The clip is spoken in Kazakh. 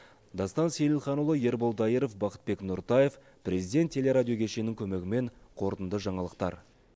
дастан сейілханұлы ербол дайыров бақытбек нұртаев президент телерадио кешенінің көмегімен қорытынды жаңалықтар